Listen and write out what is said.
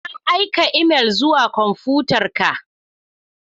Na aika imel zuwa kwamfutarka.